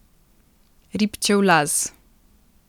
Ribčev Laz.